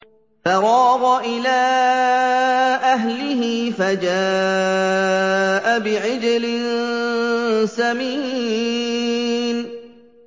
فَرَاغَ إِلَىٰ أَهْلِهِ فَجَاءَ بِعِجْلٍ سَمِينٍ